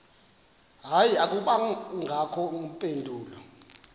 hayi akubangakho mpendulo